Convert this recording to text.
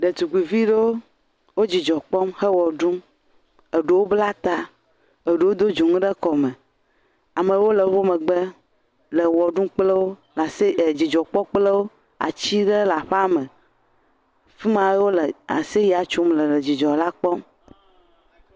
Ɖetugbuiviɖewo wo dzidzɔ kpɔm he wɔ ɖum, eɖo blata, eɖo do dzonu ɖe kɔme, amewo wole wo megbe, le wɔ ɖum kple wo, nasi edzidzɔ kpɔkplɔwo ,atiɖewo le aƒeame fima wole aseyea tsom le wole dzidzɔ la kpɔ.